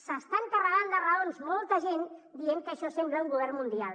s’està carregant de raons molta gent dient que això sembla un govern mundial